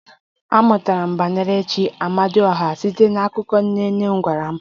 Amụtara m banyere chi "Amadioha" site n'akụkọ nne nne m gwara m